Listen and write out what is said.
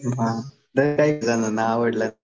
मग तरी काही जणांना आवडलं